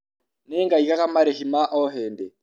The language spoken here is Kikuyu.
Nĩ ngaigaga marĩhi ma o hĩndĩ.